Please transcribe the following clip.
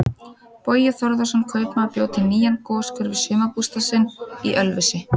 Bogi Þórðarson kaupmaður bjó til nýjan goshver við sumarbústað sinn í Ölfusi.